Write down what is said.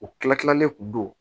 U kila tilalen kun don